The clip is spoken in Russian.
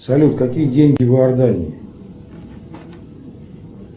салют какие деньги в иордании